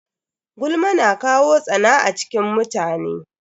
Gulma na kawo tsana a cikin mutane.